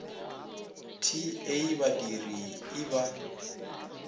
t a badiri i ba